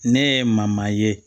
Ne ye maman ye